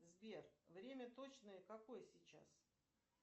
сбер время точное какое сейчас